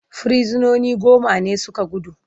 Firsinoni goma ne su ka gudu.